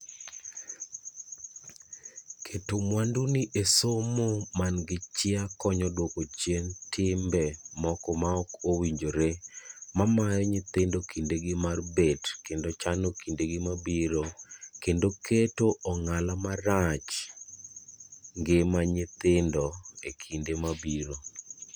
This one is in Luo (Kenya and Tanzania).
Keto mwanduni esomo man gichia konyo duoko chien timbe moko maok owinjore mamayo nyithindo kindegi mar bet kendo chano kindegi mabiro kendo keto ong'ala marach ngima nyithindogo ekinde mabiro.